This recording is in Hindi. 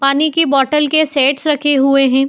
पानी की बॉटल के सेट्स रखे हुए हैं।